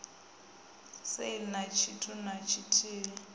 sale na tshithu na tshithihi